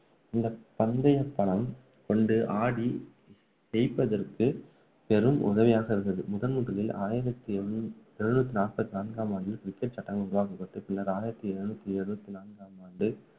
இந்த பந்தயபணம் கொண்டு ஆடி ஜெயிப்பதற்கு பெரும் உதவியாக இருந்தது முதல்முதலில் ஆயிரத்து எண்ணூ~ எழுநூற்று நாப்பத்து நான்காம் ஆண்டில் cricket சட்டம் உருவாக்கப்பட்டு பின்னர் ஆயிரத்து எழுநூற்று எழுபத்து நான்காம் ஆண்டு